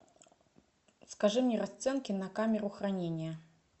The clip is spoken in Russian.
скажи мне расценки на камеру хранения